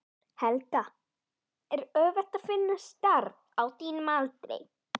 Helga: Er auðvelt að finna starf á þínum aldri?